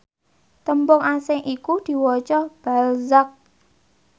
tembung asing iku diwaca balzac